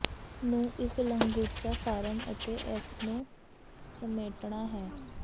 ਨੂੰ ਇੱਕ ਲੰਗੂਚਾ ਫਾਰਮ ਅਤੇ ਇਸ ਨੂੰ ਸਮੇਟਣਾ ਹੈ